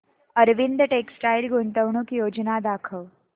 Arvind textile गुंतवणूक योजना दाखव